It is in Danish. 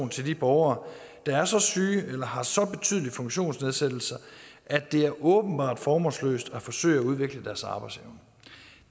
til de borgere der er så syge eller har så betydelige funktionsnedsættelser at det er åbenbart formålsløst at forsøge at udvikle deres arbejdsevne